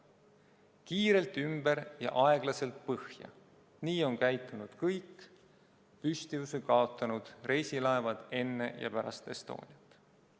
Kiirelt ümber ja aeglaselt põhja – nii on käitunud kõik püstuvuse kaotanud reisilaevad enne ja pärast Estoniat.